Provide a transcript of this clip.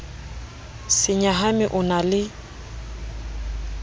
se nyahame o na le